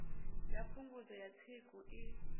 ya phungudzo ya tsiku i